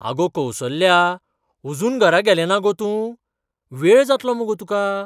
आगो कौसल्या, अजून घरा गेलेंना गो तूं? वेळ जातलो मुगो तुका.